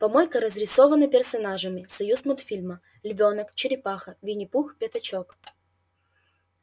помойка разрисована персонажами союзмультфильма львёнок черепаха виннипух пятачок